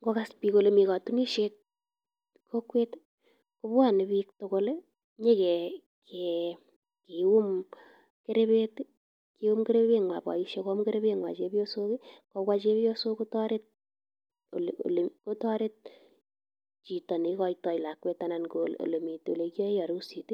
Ng'okas biik kolee mii kotunishet kokwet ko bwone biik tukul inyokium kurbet, koyum kurbenywan boishek koyum kurbenywan chebiosok, kobwaa chebiosok kotoret olee kotoret chito neikoitoi lakwet anan ko elemiten olekiyoen arusit,